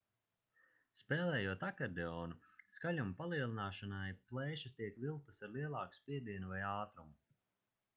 spēlējot akordeonu skaļuma palielināšanai plēšas tiek vilktas ar lielāku spiedienu vai ātrumu